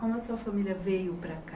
Como a sua família veio para cá?